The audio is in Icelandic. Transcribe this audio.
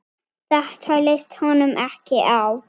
Þetta leist honum ekki á.